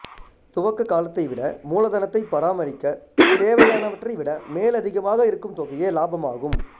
துவக்க காலத்தை விட மூலதனத்தை பராமரிக்கத் தேவையானவற்றை விட மேலதிகமாக இருக்கும் தொகையே இலாபமாகும்